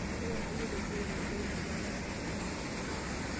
Totona iyie teseriani pee kidua taisere.